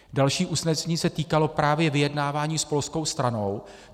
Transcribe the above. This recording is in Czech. Další usnesení se týkalo právě vyjednávání s polskou stranou.